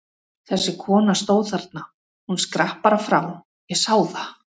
Þessi kona stóð þarna, hún skrapp bara frá, ég sá það!